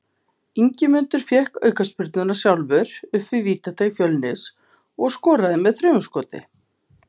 Ingimundur fékk aukaspyrnuna sjálfur upp við vítateig Fjölnis og skoraði með þrumuskoti.